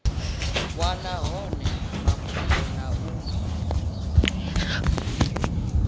wana hone mafhungo na u